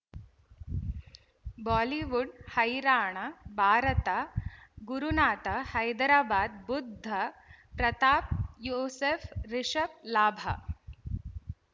Bollywood ಹೈರಾಣ ಭಾರತ ಗುರುನಾಥ ಹೈದರಾಬಾದ್ ಬುಧ್ ಪ್ರತಾಪ್ ಯೂಸುಫ್ ರಿಷಬ್ ಲಾಭ